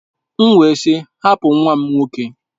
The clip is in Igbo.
M wee sị, hapụ nwa m nwoke!